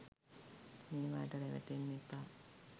මේවාට රැවටෙන්න එපා